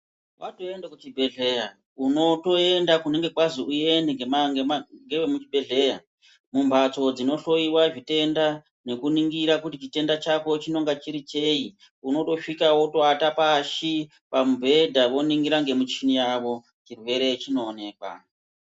Watoende kuchibhedhleya unotoenda kunenge kwazi uende ngevemuchibhedhleya. Mumbatso dzinohloiwa zvitenda nekuningira kuti chitenda chako chinonga cheyi. Unotosvika wotovata pashi, pamubhedha voningira ngemuchini yavo, chirwere chinoonekwa.